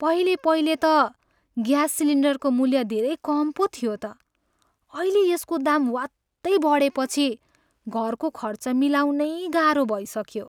पहिलेपहिले त ग्यास सिलिन्डरको मूल्य धेरै कम पो थियो त। अहिले यसको दाम ह्वात्तै बढेपछि घरको खर्च मिलाउनै गाह्रो भइसक्यो।